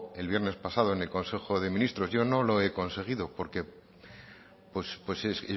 el viernes pasado en el consejo de ministros yo no lo he conseguido no